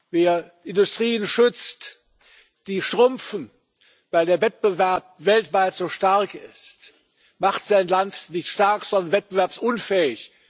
Wer Industrien schützt, die schrumpfen, weil der Wettbewerb weltweit so stark ist, macht sein Land nicht stark, sondern wettbewerbsunfähig.